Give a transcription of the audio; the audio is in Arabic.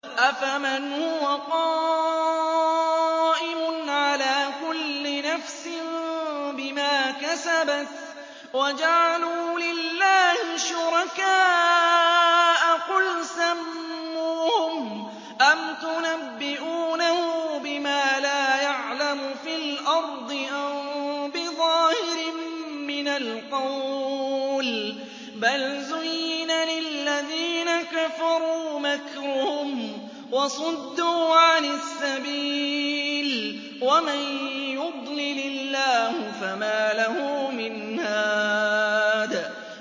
أَفَمَنْ هُوَ قَائِمٌ عَلَىٰ كُلِّ نَفْسٍ بِمَا كَسَبَتْ ۗ وَجَعَلُوا لِلَّهِ شُرَكَاءَ قُلْ سَمُّوهُمْ ۚ أَمْ تُنَبِّئُونَهُ بِمَا لَا يَعْلَمُ فِي الْأَرْضِ أَم بِظَاهِرٍ مِّنَ الْقَوْلِ ۗ بَلْ زُيِّنَ لِلَّذِينَ كَفَرُوا مَكْرُهُمْ وَصُدُّوا عَنِ السَّبِيلِ ۗ وَمَن يُضْلِلِ اللَّهُ فَمَا لَهُ مِنْ هَادٍ